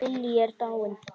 Lillý er dáin.